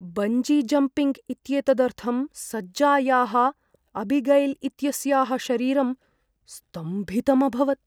Bungee jumping इत्येतदर्थं सज्जायाः Abigail इत्यस्याः शरीरं स्तम्भितम् अभवत्।